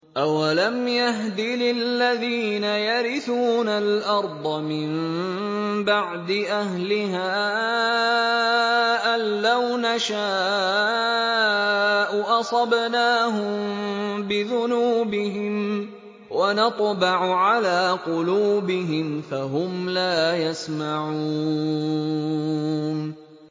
أَوَلَمْ يَهْدِ لِلَّذِينَ يَرِثُونَ الْأَرْضَ مِن بَعْدِ أَهْلِهَا أَن لَّوْ نَشَاءُ أَصَبْنَاهُم بِذُنُوبِهِمْ ۚ وَنَطْبَعُ عَلَىٰ قُلُوبِهِمْ فَهُمْ لَا يَسْمَعُونَ